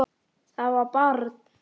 Það var barn.